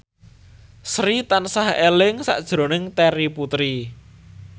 Sri tansah eling sakjroning Terry Putri